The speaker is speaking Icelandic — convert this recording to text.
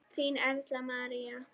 Þín, Erla María.